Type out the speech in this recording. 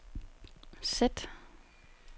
sæt